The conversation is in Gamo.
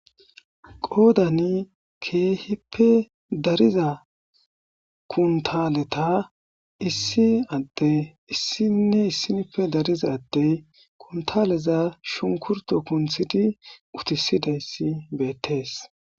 qoodani keehippe dariza kuntaleta issi adde issinne issinife dariza adtey kuntaleza shunkurto kunthidi utisidayssi beettees